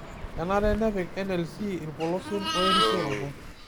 kenare pepik NLC irpolosien oe reisiroto